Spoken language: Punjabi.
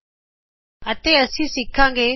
TOOLBAR ਅਤੇ ਅਸੀਂ ਸਿਖਾਗੇ